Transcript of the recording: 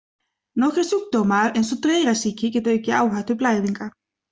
Nokkrir sjúkdómar eins og dreyrasýki geta aukið áhættu blæðinga.